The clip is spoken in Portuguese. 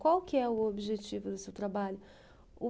Qual que é o objetivo do seu trabalho? O